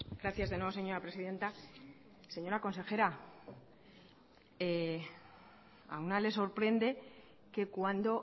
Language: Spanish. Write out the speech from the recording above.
gracias de nuevo señora presidenta señora consejera a una le sorprende que cuando